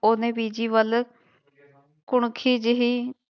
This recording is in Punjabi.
ਉਹਨੇ ਬੀਜੀ ਵੱਲ ਕੁਣਖੀ ਜਿਹੀ